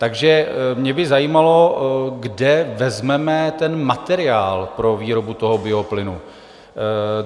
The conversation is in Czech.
Takže mě by zajímalo, kde vezmeme ten materiál pro výrobu toho bioplynu.